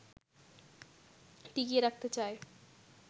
টিকিয়ে রাখতে চায়